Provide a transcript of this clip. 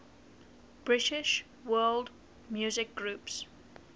british world music groups